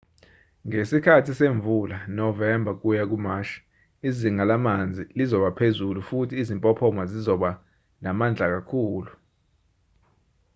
ngesikhathi semvula novemba ukuya kumashi izinga lamanzi lizobaphezulu futhi izimpophoma zizoba namandla kakhulu